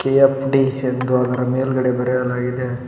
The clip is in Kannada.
ಕೆ_ಎಫ್_ಡಿ ಎಂದು ಅದರ ಮೇಲ್ಗಡೆ ಬರೆಯಲಾಗಿದೆ.